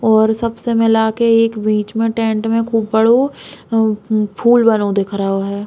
और सबसे मिला के एक बीच मे टेंट मे खूब बड़ो म फूल बनो दिख रहो है।